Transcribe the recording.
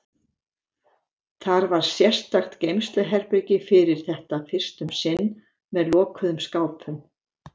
Þar var sérstakt geymsluherbergi fyrir þetta fyrst um sinn, með lokuðum skápum.